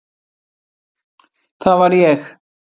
Það var ég.